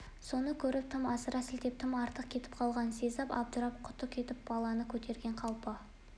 соны көріп тым асыра сілтеп тым артық кетіп қалғанын сезіп абдырап құты кетіп баланы көтерген қалпы